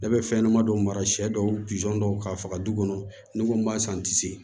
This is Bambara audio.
Ne bɛ fɛn ɲɛnɛma dɔw mara siyɛ dɔw dɔw k'a faga du kɔnɔ ni ko b'a san n tɛ se